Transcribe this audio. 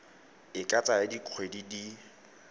e ka tsaya dikgwedi di